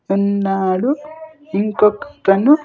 ఉన్నాడు ఇంకొకతను.